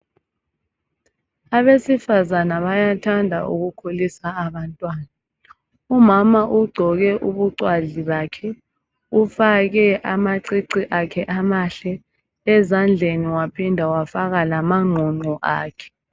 Abesifazana bayathanda ukukhulisa abantwana. Umama ugqoke ubucwazi bakhe , ufake amacici akhe amahle. Ezandleni waphinda wafaka lamangqongqo akhe.